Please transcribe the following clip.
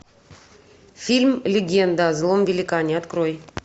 фильм легенда о злом великане открой